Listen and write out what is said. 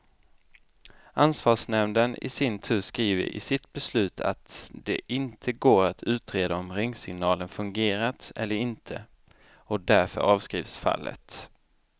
Ansvarsnämnden i sin tur skriver i sitt beslut att det inte går att utreda om ringsignalen fungerat eller inte, och därför avskrivs fallet.